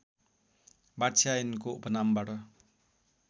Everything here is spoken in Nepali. वात्स्यायनको उपनामबाट